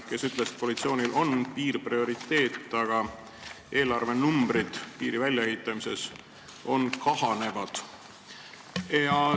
Tema ütles, et koalitsioonile on piir prioriteet, aga eelarvenumbrid piiri väljaehitamiseks kahanevad.